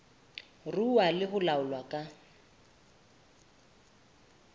ruuwa le ho laolwa ka